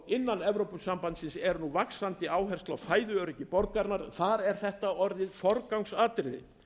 innan evrópusambandsins er nú vaxandi áhersla á fæðuöryggi borgaranna það er orðið forgangsatriði